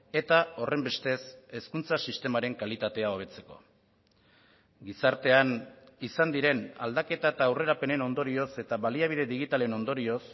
eta horrenbestez hezkuntza sistemaren kalitatea hobetzeko gizartean izan diren aldaketa eta aurrerapenen ondorioz eta baliabide digitalen ondorioz